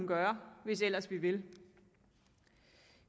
gøre hvis ellers vi vil